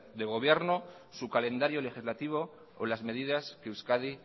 de gobierno su calendario legislativo o las medidas que euskadi